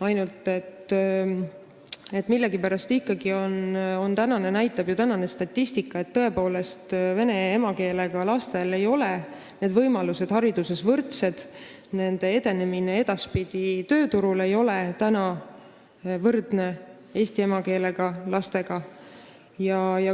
ainult et millegipärast ikkagi näitab tänane statistika, et vene emakeelega lastel ei ole hariduses võrdseid võimalusi, nende edaspidine edenemine tööturul ei ole täna võrdne nende laste edenemisega, kelle emakeel on eesti keel.